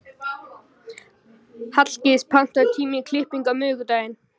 Hallgils, pantaðu tíma í klippingu á miðvikudaginn.